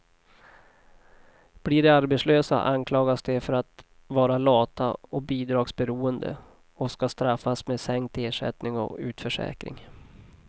Blir de arbetslösa anklagas de för att vara lata och bidragsberoende, och ska straffas med sänkt ersättning och utförsäkring.